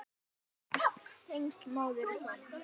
Sterk tengsl móður og sonar.